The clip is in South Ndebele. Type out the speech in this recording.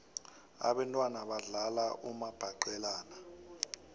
abentwana badlala umabhaqelana